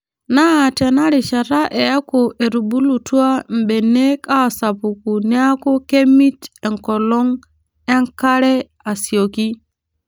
Naa teinarishata eeku etubulutua mbenek aasapuku neeku kemit enkolong enkare asioki.